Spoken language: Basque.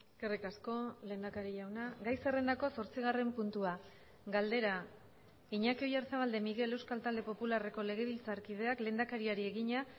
eskerrik asko lehendakari jauna gai zerrendako zortzigarren puntua galdera iñaki oyarzabal de miguel euskal talde popularreko legebiltzarkideak lehendakariari egina